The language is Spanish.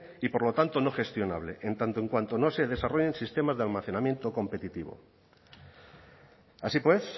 y por lo tanto no gestionable en tanto en cuanto no se desarrollen sistemas de almacenamiento competitivo así pues